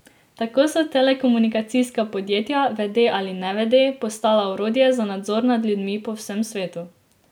Tako so telekomunikacijska podjetja, vede ali nevede, postala orodje za nadzor nad ljudmi po vsem svetu.